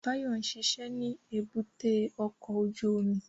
Báyọ̀ ń ṣiṣẹ́ ní èbúté ọkọ̀ ojú omi